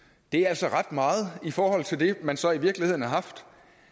det er altså ret meget i forhold til det man så i virkeligheden har haft